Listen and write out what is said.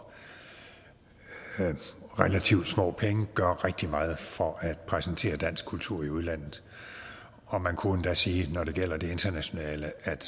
relativt små penge gør rigtig meget for at præsentere dansk kultur i udlandet man kunne endda sige når det gælder det internationale at